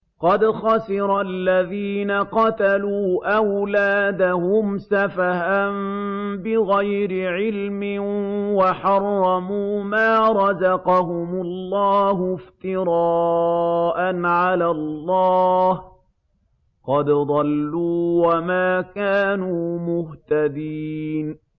قَدْ خَسِرَ الَّذِينَ قَتَلُوا أَوْلَادَهُمْ سَفَهًا بِغَيْرِ عِلْمٍ وَحَرَّمُوا مَا رَزَقَهُمُ اللَّهُ افْتِرَاءً عَلَى اللَّهِ ۚ قَدْ ضَلُّوا وَمَا كَانُوا مُهْتَدِينَ